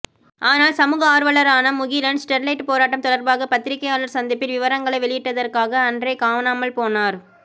ஆனால் சமூக ஆர்வலரான முகிலன் ஸ்டெர்லைட் போராட்டம் தொடர்பாக பத்திரிகையாளர் சந்திப்பில் விவரங்களை வெளியிட்டதற்காக அன்றே காணாமல் போனார்